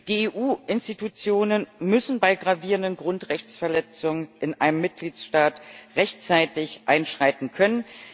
Die EU Institutionen müssen bei gravierenden Grundrechtsverletzungen in einem Mitgliedstaat rechtzeitig einschreiten können.